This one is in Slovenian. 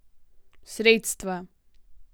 Sredstva.